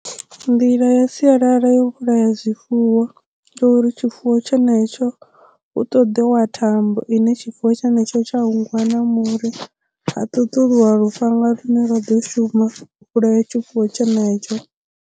Nḓila ya sialala yo vhulaya zwifuwo uri tshifuwo tshenetsho hu ṱoḓiwa thambo ine tshifuwo tshenetsho tsha hungwa na muri ha ṱuṱulwa lufhanga lune lwa ḓo shuma u vhulaya tshifuwo tshenetsho.